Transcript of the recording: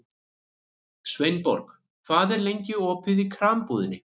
Sveinborg, hvað er lengi opið í Krambúðinni?